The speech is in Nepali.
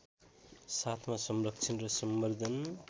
साथमा संरक्षण र सम्बर्द्धन